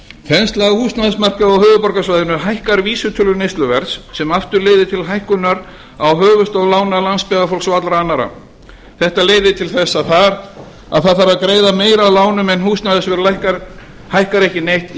þensla húsnæðismarkaðar á höfuðborgarsvæðinu hækkar vísitölu neysluverðs sem aftur leiðir til hækkar á höfuðstól lána landsbyggðarfólks og allra annarra þetta leiðir til þess að það þarf að greiða meira af lánum en húsnæðisverð lækkar hækkar ekki neitt